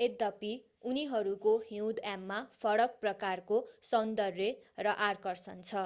यद्यपि उनीहरूको हिउँदयाममा फरक प्रकारको सौन्दर्य र आकर्षण छ